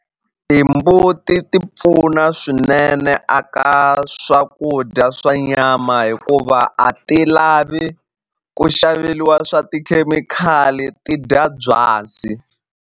Timbuti ti pfuna swinene a ka swakudya swa nyama hikuva a ti lavi ku xaveliwa swa tikhemikhali ti dya byasi.